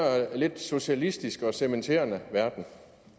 socialistisk og cementerende verden